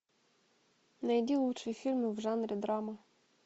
найди лучшие фильмы в жанре драма